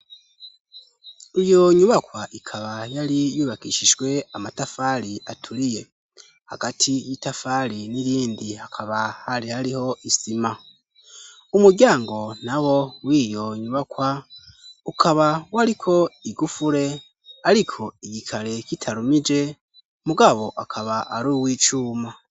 Iyo nyubakwa ikaba yali yubakishishwe amatafaali atuliye hagati y'itafaali n'irindi akaba hali aliho isima umugyango nabo wiyonyubakwa ukaba waliko igufule aliko igikale kitarumije mugabo akaba ari w'icuma